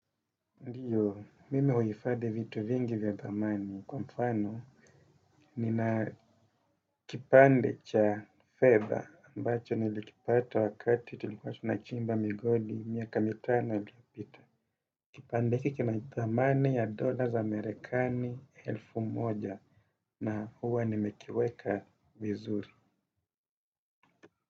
Ndiyo, mimi huhifadhi vitu vingi vya thamani. Kwa mfano, nina kipande cha fedha ambacho nilikipata wakati tulikuwa tunachimba migodi, miaka mitano iliyopita. Kipande kina thamani za dollars amerikani elfu moja na huwa nimekiweka vizuri.